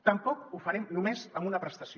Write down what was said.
tampoc ho farem només amb una prestació